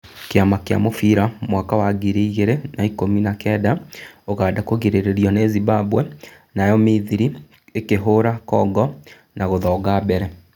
Kĩama kĩa mũbira thĩ mwaka wa ngiri igĩrĩ na ikũmi na kenda: ũganda kũgirĩrĩrio nĩ Zibwemba, nayo mithiri ikĩhũra Kongo na gũthonga mbere